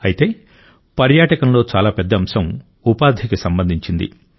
అయితే పర్యాటకంలో చాలా పెద్ద అంశం ఉపాధికి సంబంధించింది